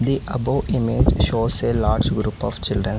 The above images shows a large group of childrens.